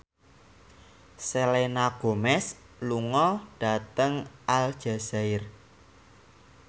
Selena Gomez lunga dhateng Aljazair